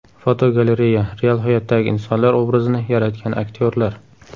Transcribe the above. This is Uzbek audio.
Fotogalereya: Real hayotdagi insonlar obrazini yaratgan aktyorlar.